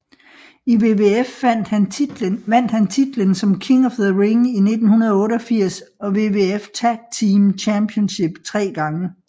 I WWF vandt han titlen som King of the Ring i 1988 og WWF Tag Team Championship tre gange